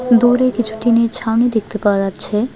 দূরে কিছু টিনের ছাউনি দেখতে পাওয়া যাচ্ছে।